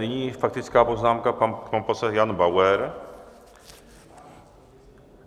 Nyní faktická poznámka, pan poslanec Jan Bauer.